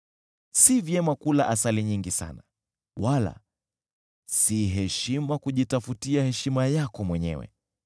Si vyema kula asali nyingi sana, wala si heshima kujitafutia heshima yako mwenyewe.